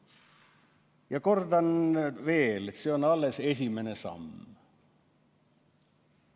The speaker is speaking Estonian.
Ja kordan veel, et see on alles esimene samm.